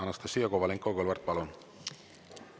Anastassia Kovalenko-Kõlvart, palun!